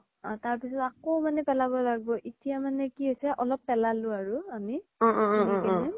অ তাৰ পিছ্ত আকৌ মানে পেলাব লাগব এতিয়া মানে কি হৈছে অলপ পেলালো আৰু আমি